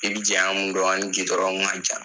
I bɛ jɛamu dɔn? A ni gudɔrɔn ma jan.